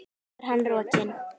Svo er hann rokinn.